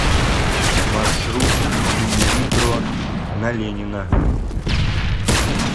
маршрут инвитро на ленина